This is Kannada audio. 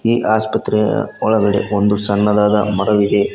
ಈ ಆಸ್ಪತ್ರೆಯ ಒಳಗಡೆ ಒಂದು ಸಣ್ಣದಾದ ಮರವಿದೆ.